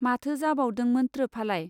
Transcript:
माथो जाबावदोंमोत्रो फालाय.